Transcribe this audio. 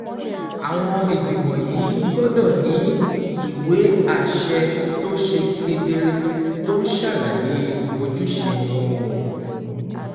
Àwọn ìgbìmọ̀ yìí gbọ́dọ̀ ní ìwé àṣẹ tó ṣe kedere tó ń ṣàlàyé ojúṣe wọn, ó